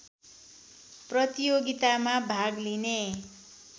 प्रतियोगितामा भाग लिने